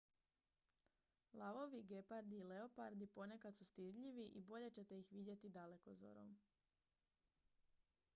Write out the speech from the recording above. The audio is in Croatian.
lavovi gepardi i leopardi ponekad su stidljivi i bolje ćete ih vidjeti dalekozorom